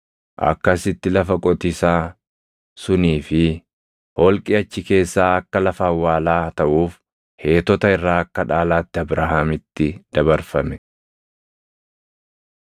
Akkasitti lafa qotiisaa sunii fi holqi achi keessaa akka lafa awwaalaa taʼuuf Heetota irraa akka dhaalaatti Abrahaamitti dabarfame.